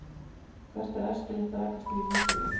hvert er æskilegt rakastig í hýbýlum